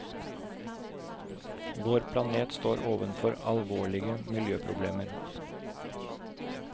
Vår planet står overfor alvorlige miljøproblemer.